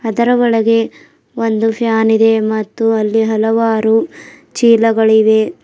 ಇದರ ಒಳಗೆ ಒಂದು ಫ್ಯಾನ್ ಇದೆ ಮತ್ತು ಅಲ್ಲಿ ಹಲವಾರು ಚೀಲಗಳಿವೆ.